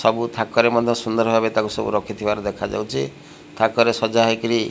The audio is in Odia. ସବୁ ଥାକରେ ମଧ୍ୟ ସୁନ୍ଦର ଭାବରେ ତାକୁ ସବୁ ରଖିଥିବାର ଦେଖାଯାଉଛି ଥାକରେ ସଜା ହେଇକିରି।